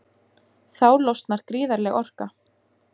Þá losnar gríðarleg orka.